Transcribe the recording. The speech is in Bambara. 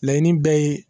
Laɲini bɛɛ ye